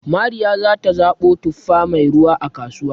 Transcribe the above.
Mariya za ta zaɓo tuffa mai ruwa, a kasuwa